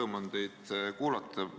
Rõõm on teid kuulata!